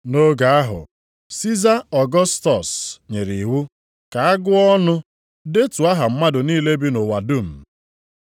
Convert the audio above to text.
Nʼoge ahụ, Siza Ọgọstọs nyere iwu ka a gụọ ọnụ, detuo aha mmadụ niile bi nʼụwa dum. + 2:1 Ụwa dum na-ekwu maka Rom mgbe ochie maọbụ mba niile ndị Rom na-achị.